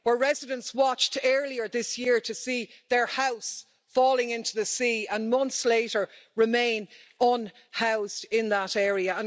Where residents watched earlier this year to see their house falling into the sea and months later remain unhoused in that area.